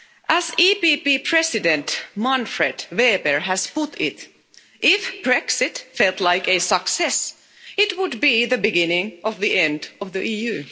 As the EPP President, Manfred Weber, has put it, if Brexit felt like a success, it would be the beginning of the end of the EU.